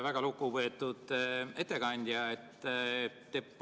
Väga lugupeetud ettekandja!